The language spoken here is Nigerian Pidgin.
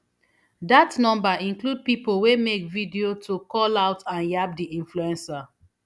dat number include pipo wey make video to call out and yab di influencer